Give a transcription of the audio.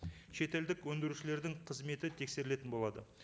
шетелдік өндірушілерлің қызметі тексерілетін болады